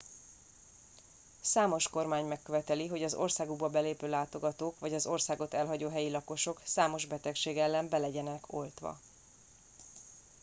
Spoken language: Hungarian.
számos kormány megköveteli hogy az országukba belépő látogatók vagy az országot elhagyó helyi lakosok számos betegség ellen be legyenek oltva